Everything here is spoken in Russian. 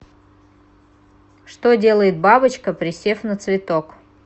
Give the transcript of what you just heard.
что делает бабочка присев на цветок